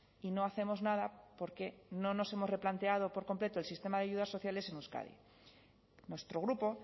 y no hacemos nada porque no nos hemos replanteado por completo el sistema de ayudas sociales en euskadi nuestro grupo